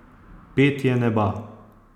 Petje neba.